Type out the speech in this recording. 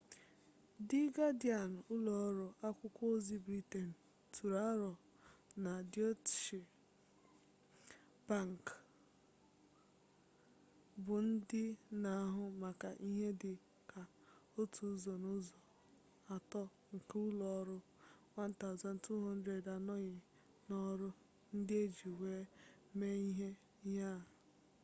di gadịan ụlọ ọrụ akwụkwọ ozi briten tụrụ aro na deutsche bank bụ ndị na-ahụ maka ihe dị ka otu ụzọ n'ụzọ atọ nke ụlọ ọrụ 1200 anọghị n'ọrụ ndị e ji wee mee ihe a